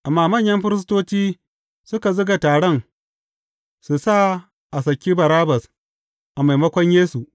Amma manyan firistoci suka zuga taron su sa a saki Barabbas, a maimakon Yesu.